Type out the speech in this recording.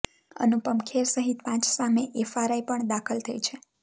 અનુપમ ખેર સહિત પાંચ સામે એફઆરઆઈ પણ દાખલ થઈ છે